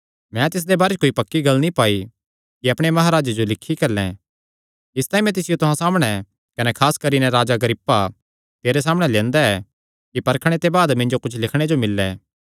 मैं तिसदे बारे च कोई पक्की गल्ल नीं पाई कि अपणे महाराजे जो लिखी घल्लैं इसतांई मैं तिसियो तुहां सामणै कने खास करी नैं हे राजा अग्रिप्पा तेरे सामणै लंदेया ऐ कि परखणे ते बाद मिन्जो कुच्छ लिखणे जो मिल्ले